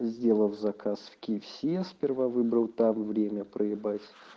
сделав заказ в кфс сперва выбрал там время проебать